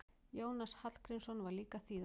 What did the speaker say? Jónas Hallgrímsson var líka þýðandi.